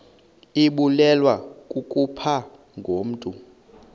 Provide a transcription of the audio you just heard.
ibulewe kukopha ngokomntu